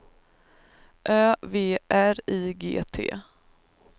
Ö V R I G T